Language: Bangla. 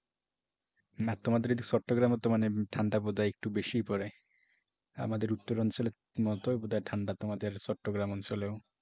না তোমাদের ওদিকে চট্টগ্রামে তো মানে ঠান্ডা বোধহয় একটু বেশিই পড়ে। আমাদের উত্তরাঞ্চলের মতো বোধহয় ঠান্ডা তোমাদের চট্টগ্রাম অঞ্চলেও।